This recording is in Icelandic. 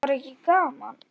Var ekki gaman?